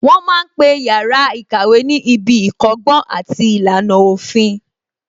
Wọ́n ma ń pe yàrá ìkàwé ní ibi ìkọ́gbọ́n àti ìlànà òfin